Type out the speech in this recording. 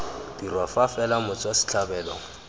dirwa fa fela motswa setlhabelo